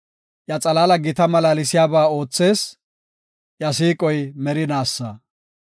Iya xalaali gita malaalsiyaba oothees; iya siiqoy merinaasa.